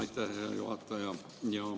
Aitäh, hea juhataja!